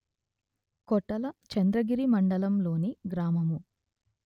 కొటల చంద్రగిరి మండలం లోని గ్రామము